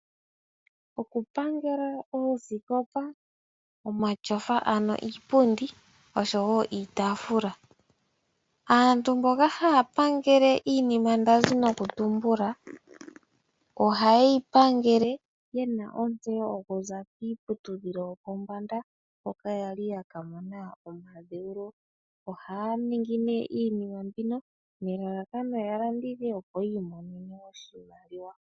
Okupangela oosikopa, omatyofa ano iipundi oshowo iitaafula. Aantu mboka haya pangele iinima ndazi nokutumbula ohaye yipangele yena ontseyo okuza kiiputudhilo yopombanda hoka yali yaka mona omadhewulo. Ohaya ningi nee iinima mbino nelalakano ya landithe opo yiimonene oshimaliwa.